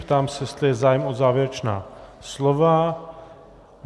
Ptám se, jestli je zájem o závěrečná slova.